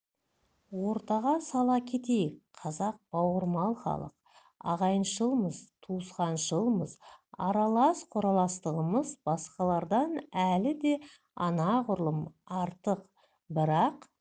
ортаға сала кетейік қазақ бауырмал халық ағайыншылмыз туысқаншылмыз аралас-құраластығымыз басқалардан әлі де анағұрлым артық бірақ